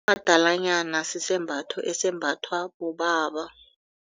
Umadalanyana sisembatho esimbathwa bobaba.